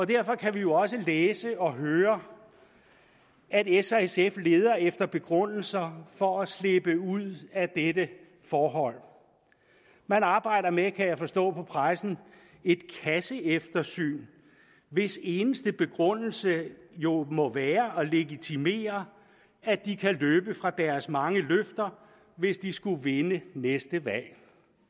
derfor kan vi jo også læse og høre at s og sf leder efter begrundelser for at slippe ud af dette forhold man arbejder med kan jeg forstå på pressen et kasseeftersyn hvis eneste begrundelse jo må være at legitimere at de kan løbe fra deres mange løfter hvis de skulle vinde næste valg